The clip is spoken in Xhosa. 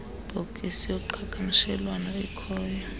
bhokisi yoqhagamshelwano ikhoyo